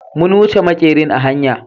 mun wuche makerin a hanya.